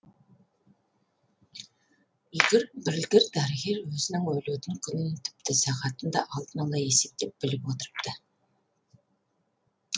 білгір дәрігер өзінің өлетін күнін тіпті сағатын да алдын ала есептеп біліп отырыпты